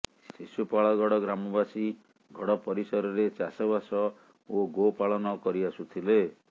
ଶିଶୁପାଳଗଡ ଗ୍ରାମବାସୀ ଗଡ଼ ପରିସରରେ ଚାଷବାସ ଓ ଗୋପାଳନ କରି ଆସୁଥିଲେ